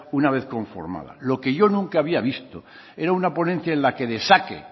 una vez conformada lo que yo nunca había visto era una ponencia en la que destaque